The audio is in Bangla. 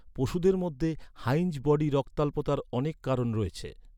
পশুদের মধ্যে, হাইন্‌জ বডি রক্তাল্পতার অনেক কারণ রয়েছে।